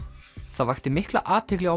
það vakti mikla athygli á